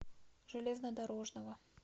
железнодорожного